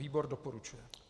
Výbor doporučuje.